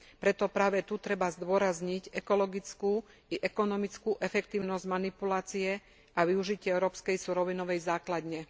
Preto práve tu treba zdôrazniť ekologickú i ekonomickú efektívnosť manipulácie a využitia európskej surovinovej základne.